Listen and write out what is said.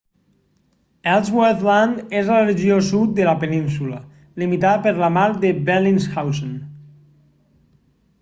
ellsworth land és la regió sud de la península limitada per la mar de bellingshausen